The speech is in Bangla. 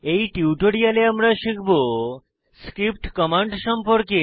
এই টিউটোরিয়ালে আমরা শিখব স্ক্রিপ্ট কমান্ড সম্পর্কে